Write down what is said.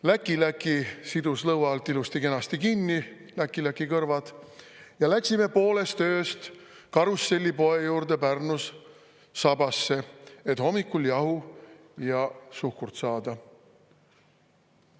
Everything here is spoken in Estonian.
Läkiläki kõrvad sidus lõua alt ilusti-kenasti kinni ja läksime pooles öös Karusselli poe juurde Pärnus sabasse, et hommikul jahu ja suhkrut saada.